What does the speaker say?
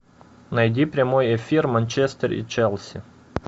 найди прямой эфир манчестер и челси